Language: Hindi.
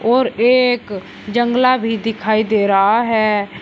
और एक जंगला भी दिखाई दे रहा है।